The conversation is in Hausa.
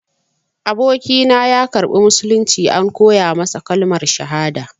Abokina ya karɓi musulunci, an koya masa kalmar shahada.